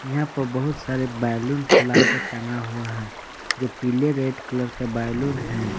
यहां पर बहुत सारे बैलून फूला के टंगा हुआ है। जो पीले रेड कलर का बैलून हैं।